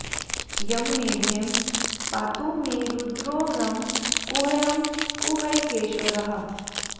यं मेढ्रे पातु मे रुद्रो रं गुह्यं गुह्यकेश्वरः